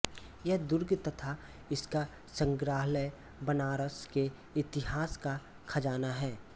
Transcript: यह दुर्ग तथा इसका संग्रहालय बनारस के इतिहास का खजाना है